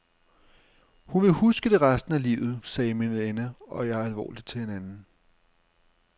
Hun vil huske det resten af livet, sagde min veninde og jeg alvorligt til hinanden.